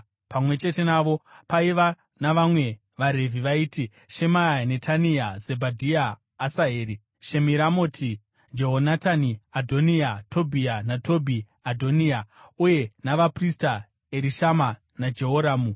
Pamwe chete navo paiva navamwe vaRevhi vaiti: Shemaya, Netania, Zebhadhia, Asaheri, Shemiramoti, Jehonatani, Adhoniya, Tobhiya naTobhi-Adhoniya, uye navaprista Erishama naJehoramu.